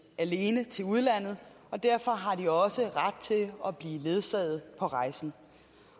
alene til udlandet og derfor har de også ret til at blive ledsaget på rejsen